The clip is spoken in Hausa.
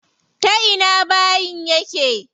Ta ina bayin yake?